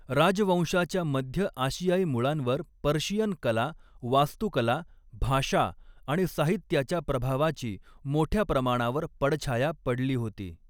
राजवंशाच्या मध्य आशियाई मुळांवर पर्शियन कला, वास्तुकला, भाषा आणि साहित्याच्या प्रभावाची मोठ्या प्रमाणावर पडछाया पडली होती.